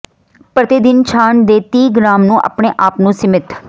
ਪ੍ਰਤੀ ਦਿਨ ਛਾਣ ਦੇ ਤੀਹ ਗ੍ਰਾਮ ਨੂੰ ਆਪਣੇ ਆਪ ਨੂੰ ਸੀਮਿਤ